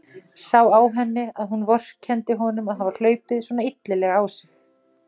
Sá á henni að hún vorkenndi honum að hafa hlaupið svona illilega á sig.